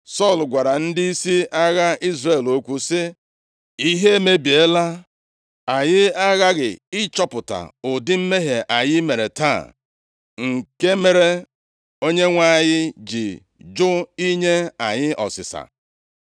Sọl gwara ndịisi agha Izrel okwu sị, “Ihe emebiela! Anyị aghaghị ịchọpụta ụdị mmehie anyị mere taa, nke mere Onyenwe anyị ji jụ inye anyị ọsịsa.